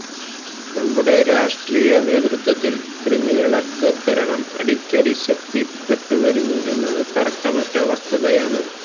നമ്മുടെ രാഷ്ട്രീയ നേതൃത്വത്തില് ക്രിമിനല്വത്കരണം അടിക്കടി ശക്തിപ്പെട്ടുവരുന്നു എന്നത് തര്ക്കമറ്റ വസ്തുതയാണ്